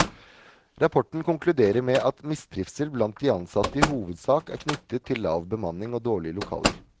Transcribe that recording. Rapporten konkluderer med at mistrivsel blant de ansatte i hovedsak er knyttet til lav bemanning og dårlige lokaler.